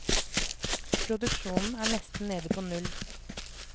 Produksjonen er nesten nede på null.